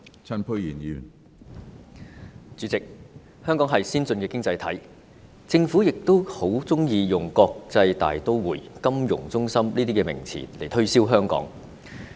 主席，香港是先進的經濟體，政府亦十分喜歡用國際大都會、金融中心等名詞來推銷香港。